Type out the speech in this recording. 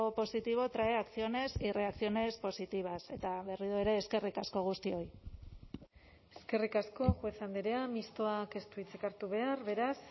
positivo trae acciones y reacciones positivas eta berriro ere eskerrik asko guztioi eskerrik asko juez andrea mistoak ez du hitzik hartu behar beraz